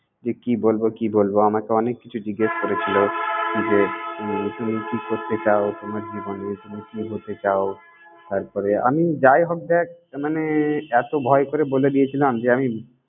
যে কি বলব কি বলব আমাকে অনেককিছু জিজ্ঞেস করেছিলো যে, তুমি কি করতে চাও তোমার জীবনে? তুমি কি হতে চাও? তারপরে, আমি যাই হোক দ্যাখ মানে এতো ভয় করে বলে দিয়েছিলাম যে, আমি।